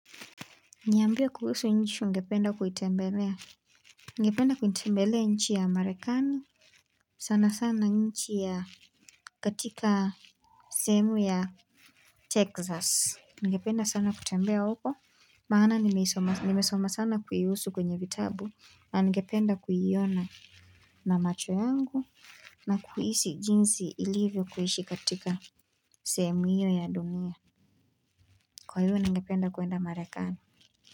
Niambie kuhusu nchi ungependa kuitembelea ningependa kuitembelea nchi ya marekani. Sanasana nchi ya katika sehemu ya texas. Ningependa sana kutembea huko. Maana nimesoma sana kuhusu kwenye vitabu na ningependa kuiona na macho yangu na kuhisi jinsi ilivyo kuishi katika sehemu hio ya dunia. Kwa hivyo ningependa kwenda marekani.